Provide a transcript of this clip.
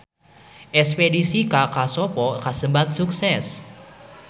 Espedisi ka Kosovo kasebat sukses